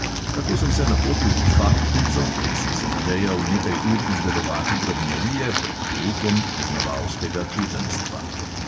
Tako sem se napotil v faktnico, kjer sem se nadejal nekaj ur izdelovati drobnjarije pred poukom poznavalskega čutenjstva.